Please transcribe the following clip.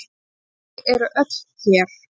Þau eru öll hér.